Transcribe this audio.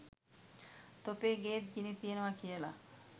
තොපේ ගේත් ගිනි තියනව කියලා